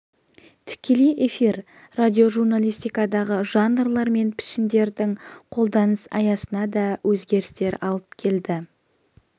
тікелей эфир радиожурналистикадағы жанрлар мен пішіндердің қолданыс аясына да өзгерістер алып келді